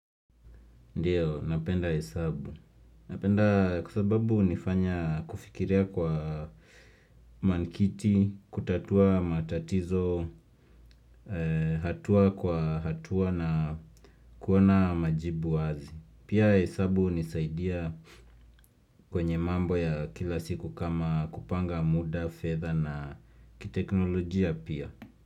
Ndiyo, napenda hesabu. Napenda kwa sababu hunifanya kufikiria kwa manikiti, kutatua matatizo, hatua kwa hatua na kuona majibu wazi. Pia hesabu hunisaidia kwenye mambo ya kila siku kama kupanga muda, fedha na kiteknolojia pia.